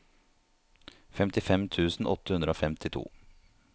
femtifem tusen åtte hundre og femtito